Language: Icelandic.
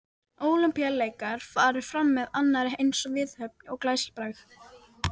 Ólympíuleikar farið fram með annarri eins viðhöfn og glæsibrag.